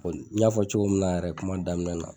N'i y'a fɔ cogo min na yɛrɛ kuma daminɛ na